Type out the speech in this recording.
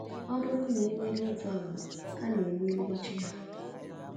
Ọ bụrụ na e merie otu agbụrụ, a na-emerikwa chi ya.